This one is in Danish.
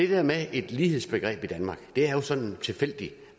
det med et lighedsbegreb i danmark er det jo sådan en tilfældig